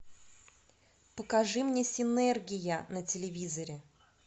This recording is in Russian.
покажи мне синергия на телевизоре